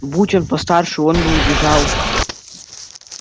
будь он постарше он бы убежал